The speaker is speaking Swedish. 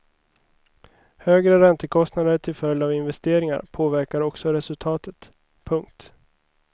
Högre räntekostnader till följd av investeringar påverkar också resultatet. punkt